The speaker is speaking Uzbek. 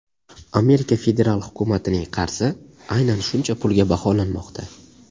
Amerika federal hukumatining qarzi aynan shuncha pulga baholanmoqda.